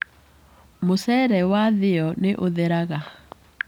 Mũcere wathĩo nĩũtheraga.